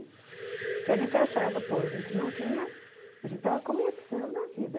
Porque a gente achava, pô, a gente não tinha... A gente estava começando a vida.